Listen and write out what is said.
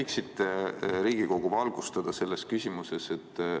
Kas te võiksite Riigikogu valgustada selles küsimuses?